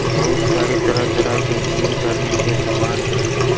बहुत सारे तरह तरह के जिम करने के समान भी हैं।